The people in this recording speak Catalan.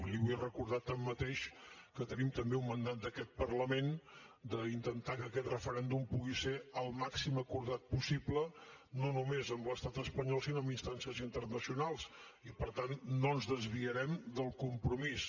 li vull recordar tanmateix que tenim també un mandat d’aquest parlament d’intentar que aquest referèndum pugui ser el màxim acordat possible no només amb l’estat espanyol sinó amb instàncies internacionals i per tant no ens desviarem del compromís